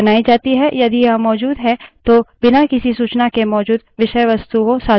यदि यह मौजूद है तो बिना किसी सूचना के मौजूद विषयवस्तुएँ सधारणतः लुप्त हो जाती हैं